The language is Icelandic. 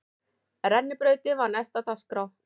Rennibrautin var næst á dagskrá.